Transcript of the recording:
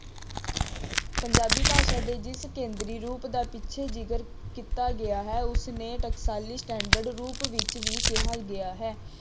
ਪੰਜਾਬੀ ਭਾਸਾ ਦੇ ਜਿਸ ਕੇਂਦਰੀ ਰੂਪ ਦਾ ਪਿੱਛੇ ਜਿਕਰ ਕੀਤਾ ਗਿਆ ਹੈ ਉਸਨੇ ਟਕਸਾਲੀ ਰੂਪ ਵਿੱਚ ਵੀ ਕਿਹਾ ਗਿਆ ਹੈ।